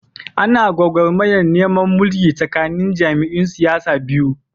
Ana gwagwarmayar neman mulki tsakanin jam'iyyun siyasar biyu.